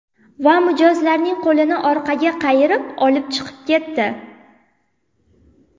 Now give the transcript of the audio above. Va mijozlarning qo‘lini orqaga qayirib, olib chiqib ketdi.